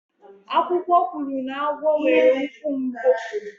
Akụkọ kwuru na agwọ nwere ikwu mbụ.